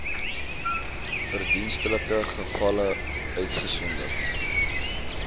verdienstelike gevalle uitgesonderd